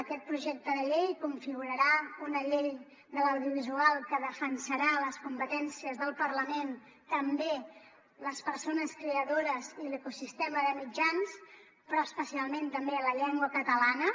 aquest projecte de llei configurarà una llei de l’audiovisual que defensarà les competències del parlament també les persones creadores i l’ecosistema de mitjans però especialment també la llengua catalana